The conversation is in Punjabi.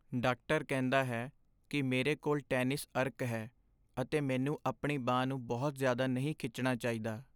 ਡਾਕਟਰ ਕਹਿੰਦਾ ਹੈ ਕਿ ਮੇਰੇ ਕੋਲ ਟੈਨਿਸ ਅਰਕ ਹੈ ਅਤੇ ਮੈਨੂੰ ਆਪਣੀ ਬਾਂਹ ਨੂੰ ਬਹੁਤ ਜ਼ਿਆਦਾ ਨਹੀਂ ਖਿੱਚਣਾ ਚਾਹੀਦਾ।